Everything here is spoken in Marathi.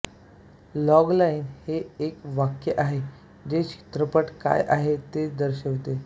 लॉगलाइन हे एक वाक्य आहे जे चित्रपट काय आहे हे दर्शवितो